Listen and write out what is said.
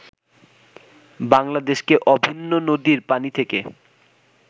বাংলাদেশকে অভিন্ন নদীর পানি থেকে